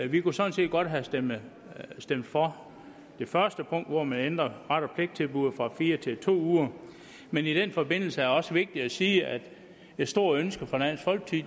vi kunne sådan set godt have stemt for det første punkt hvor man ændrer ret og pligt tilbuddet fra fire uger til to uger men i den forbindelse er det også vigtigt at sige at det store ønske fra dansk folkeparti